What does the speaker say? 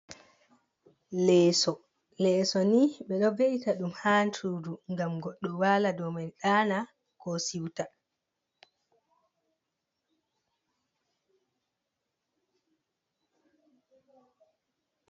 Leeso, lesso ni ɓe ɗo beita ɗum ha sudu ngam goɗɗo wala dou man ɗana ko siuta.